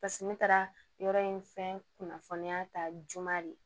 Paseke ne taara yɔrɔ in fɛn kunnafoniya ta juma de